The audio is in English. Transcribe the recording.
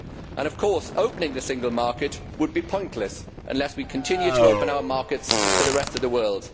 And of course opening the single market would be pointless unless we continue to open our markets to the rest of the world